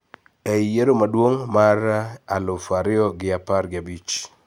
E I yiero maduong` mar aluf ariyo gi apar gi abich